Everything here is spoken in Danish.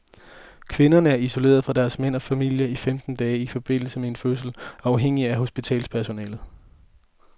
Kvinderne er isoleret fra deres mænd og familier i femten dage i forbindelse med en fødsel og afhængig af hospitalspersonalet.